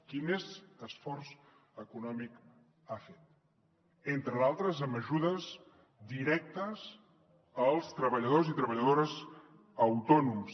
qui més esforç econòmic ha fet entre d’altres amb ajudes directes als treballadors i treballadores autònoms